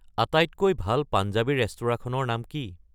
আটাইতকৈ ভাল পাঞ্জাবী ৰেস্তোৰাঁখনৰ নাম কি